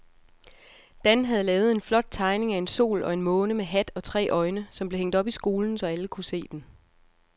Dan havde lavet en flot tegning af en sol og en måne med hat og tre øjne, som blev hængt op i skolen, så alle kunne se den.